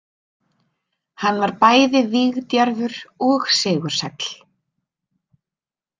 Hann var bæði vígdjarfur og sigursæll.